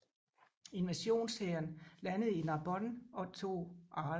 Invasionshæren landede i Narbonne og tog Arles